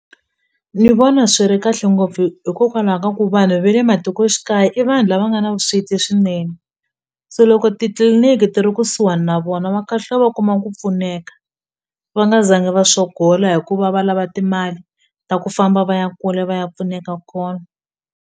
Ni vona swi ri kahle ngopfu hikokwalaho ka ku vanhu ve le matikoxikaya i vanhu lava nga na vusweti swinene se loko titliliniki ti ri kusuhani na vona va kahlula va kuma ku pfuneka va nga zanga va sogola hikuva va lava timali ta ku famba va ya kule va ya pfuneka kona.